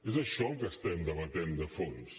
és això el que estem debaten de fons